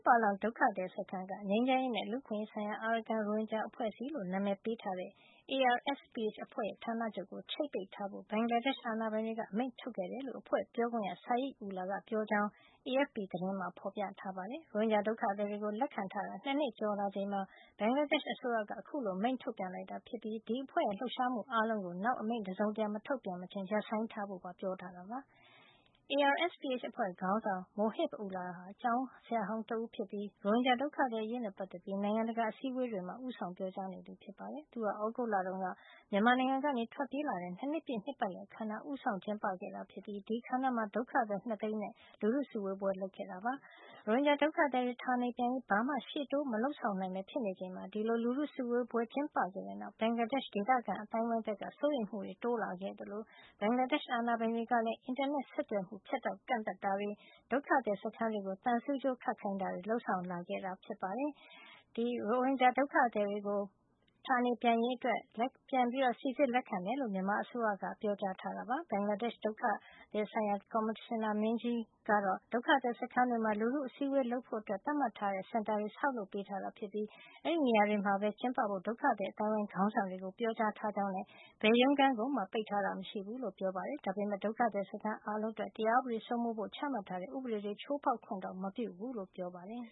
ပါလောင် ဒုက္ခသည်စခန်းက ငြိမ်းချမ်းရေးနဲ့ လူ့အခွင့်ရေးဆိုင်ရာ အာရကန် ရိုဟင်ဂျာ အဖွဲ့အစည်းလို့ နာမည်ပေးထားတဲ့ ARSPH အဖွဲ့ရဲ့ဌာနချုပ်ကို ချိတ်ပိတ်ထားဖို့ ဘင်္ဂလားဒေ့ရှ် အာဏာပိုင်တွေက အမိန့်ထုတ်ခဲ့တယ်လို့ အဖွဲ့ပြောခွင့်ရ Sayed Ullah ကပြောကြောင်း AFP သတင်းမှာ ဖော်ပြထားပါတယ်။ ရိုဟင်ဂျာဒုက္ခသည်တွေကို လက်ခံထားတာ နှစ်နှစ်ကျော်လာချိန်မှာ ဘင်္ဂလားဒေ့ရှ်အစိုးရက အခုလို အမိန့်ထုတ်ပြန်လိုက်တာဖြစ်ပြီး ဒီအဖွဲ့ရဲ့လှုပ်ရှားမှုအားလုံးကို နောက်အမိန့်တစုံတရာ မထုတ်ပြန်မချင်း ရပ်ဆိုင်းထားဖို့ပါ ပြောကြားထားတာပါ။ ARSPH အဖွဲ့ခေါင်းဆောင် Mohib Ullah ဟာ ကျောင်းဆရာဟောင်းတဦးဖြစ်ပြီး ရိုဟင်ဂျာ ဒုက္ခသည်အရေးနဲ့ပတ်သက်လို့ နိုင်ငံတကာအစည်းအဝေးတွေမှာ ဦးဆောင်ပြောကြားနေသူ ဖြစ်ပါတယ်။ သူဟာ မြန်မာနိုင်ငံကနေ ထွက်ပြေးလာတဲ့ နှစ်နှစ်ပြည့် နှစ်ပတ်လည်အခမ်းအနား ကို သြဂုတ်လက ဦးဆောင်ကျင်းပခဲ့ပြီး အဲဒီအခမ်းအနားမှာ ဒုက္ခသည် ၂ သိန်းနဲ့ လူထုစုဝေးပွဲ လုပ်ခဲ့တာ ဖြစ်ပါတယ်။ ရိုဟင်ဂျာဒုက္ခသည်တွေ ဌာနေပြန်ရေး ဘာမှ ရှေ့တိုးမလုပ်ဆောင်နိုင်ဘဲ ဖြစ်နေချိန်မှာ ဒီလို လူထုစုဝေးပွဲ ကျင်းပခဲ့ပြီးတဲ့နောက် ဘင်္ဂလားဒေ့ရှ် ဒေသခံအသိုင်းအဝိုင်းဘက်က စိုးရိမ်မှုတွေ တိုးလာခဲ့သလို ဘင်္ဂလားဒေ့ရှ် အာဏာပိုင်တွေကလည်း အင်တာနက်ဆက်သွယ်မှု ဖြတ်တောက် ကန့်သတ်တာတွေ၊ ဒုက္ခသည်စခန်းတွေကို သံဆူးကြိုးခတ်ခိုင်းတာတွေ လုပ်ဆောင်လာခဲ့တာ ဖြစ်ပါတယ်။ ဘင်္ဂလားဒေ့ရှ် ဒုက္ခသည်ဆိုင်ရာ ကော်မရှင်နာမင်းကြီး Mahbub Alam Talukder ကတော့ ဒုက္ခသည်စခန်းတွေမှာ လူထုအစည်းဝေးလုပ်ဖို့ သတ်မှတ်ထားတဲ့စင်တာတွေ ဆောက်ပေး ထားတာဖြစ်ပြီး အဲဒီနေရာတွေမှာပဲကျင်းပဖို့ ဒုက္ခသည်အသိုင်းအဝိုင်း ခေါင်းဆောင်တွေကို ပြောထားကြောင်းနဲ့ ဘယ်ရုံးခန်းကိုမှ ပိတ်တာမရှိဘူးလို့ ပြောပါတယ်။ ဒါပေမယ့် ဒုက္ခသည်စခန်းအားလုံးအတွက် တရားဥပဒေစိုးမိုးဖို့ ချမှတ်ထားတဲ့ ဥပဒေတွေကို ချိုးဖောက်ခွင့်မပြုဘူးလို့ ပြောပါတယ်